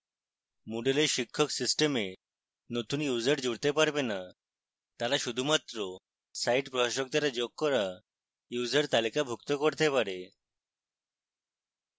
moodle এ শিক্ষক system নতুন users জুড়তে পারবে না